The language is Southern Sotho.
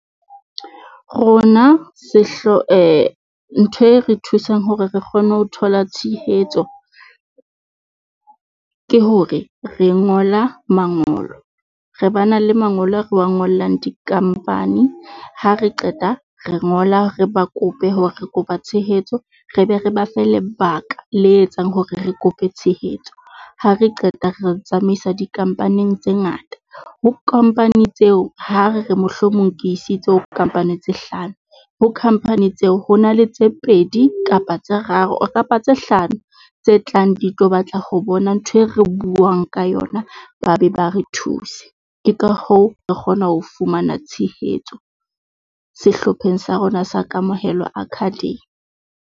Rona ntho e re thusang hore re kgone ho thola tshehetso ke hore re ngola mangolo, re ba na le mangolo a re wa ngollang di-company ha re qeta re ngola re ba kope hore re kopa tshehetso re be re ba fe lebaka le etsang hore re kope tshehetso. Ha re qeta re tsamaisa di-company-ng tse ngata ho company tseo, ha re re mohlomong ke isitse ho company tse hlano. Ho company tseo ho na le tse pedi kapa tse raro kapa tse hlano tse tlang di tlo batla ho bona ntho e re buang ka yona. Ba be ba re thuse. Ke ka hoo re kgona ho fumana tshehetso sehlopheng sa rona sa Kamohelo Academy.